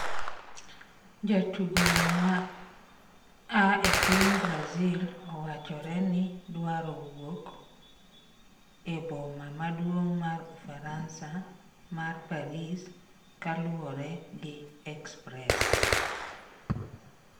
Jatugo no ma aa epiny Brazil owachore ni dwaro wuok e boma maduong' mar ufaransa mar Paris kaluore gi Express